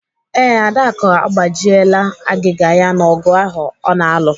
Ee, Adaku agbajiela agịga ya n'ogụ ahụ ọ na-alụ.